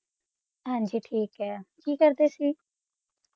ਹਾਂਜੀ ਠੀਕ ਹੈ, ਕੀ ਕਰਦੇ ਸੀ?